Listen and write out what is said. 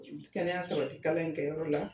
Kɛnɛya sabati kalan in kɛ yɔrɔ la